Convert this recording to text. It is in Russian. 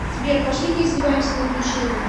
сбер пошли поиздеваемся над училкой